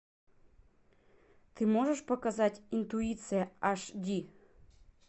ты можешь показать интуиция аш ди